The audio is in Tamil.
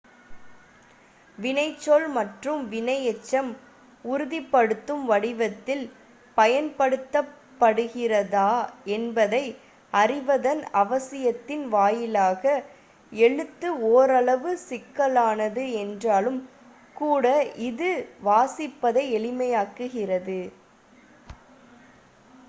வினைச்சொல் மற்றும் வினையெச்சம் உறுதிப்படுத்தும் வடிவத்தில் பயன்படுத்தப்படுகிறதா என்பதை அறிவதன் அவசியத்தின் வாயிலாக எழுத்து ஓரளவு சிக்கலானது என்றாலும் கூட இது வாசிப்பதை எளிமையாக்குகிறது